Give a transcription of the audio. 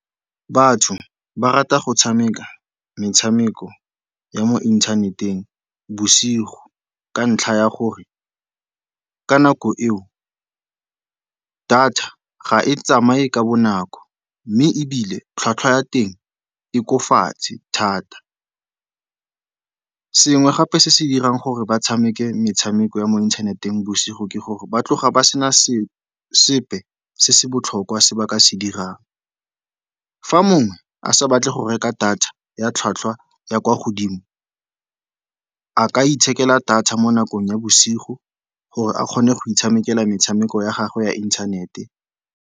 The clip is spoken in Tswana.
Batho ba rata go tshameka metshameko ya mo inthaneteng bosigo ka ntlha ya gore ka nako eo data ga e tsamaye ka bonako, mme ebile tlhwatlhwa ya teng e ko fatshe thata. Sengwe gape se se dirang gore ba tshameke metshameko ya mo inthaneteng bosigo ke gore ba tloga ba sena sepe se se botlhokwa se ba ka se dirang. Fa mongwe a sa batle go reka data ya tlhwatlhwa ya kwa godimo, a ka itshokela thata mo nakong ya bosigo gore a kgone go itshamekela metshameko ya gagwe ya inthanete.